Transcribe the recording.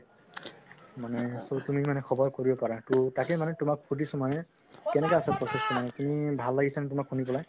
মানে তুমি মানে খবৰ কৰিব পাৰা তো তাকে মানে তুমাক সুধিছো মানে কেনেকুৱা আছে process তো মানে শুনি ভাল লাগিছে নে তুমাৰ শুনি পেলাই?